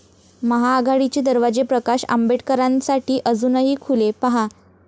महाआघाडीचे दरवाजे प्रकाश आंबेडकरांसाठी अजूनही खुले? पाहा